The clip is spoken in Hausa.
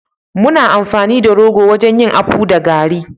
muna amfani da rogo wajen yin akpu da garri